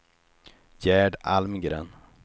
Gerd Almgren